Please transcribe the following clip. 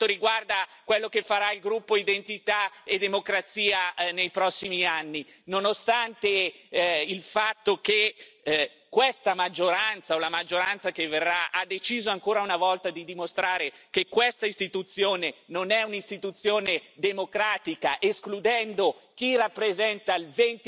Per quanto riguarda quello che farà il gruppo Identità e democrazia nei prossimi anni, nonostante il fatto che questa maggioranza o la maggioranza che verrà ha deciso, ancora una volta, di dimostrare che questa Istituzione non è un'Istituzione democratica, escludendo chi rappresenta il